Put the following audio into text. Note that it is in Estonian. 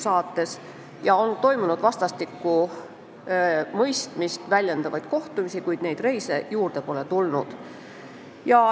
Varem on toimunud vastastikust mõistmist väljendavaid kohtumisi, kuid reise ei ole juurde tulnud.